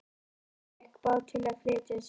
Ólafur fékk bát til að flytja sig.